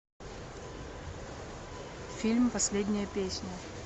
фильм последняя песня